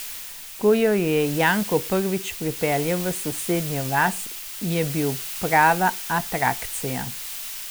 Ko jo je Janko prvič pripeljal v sosednjo vas, je bil prava atrakcija.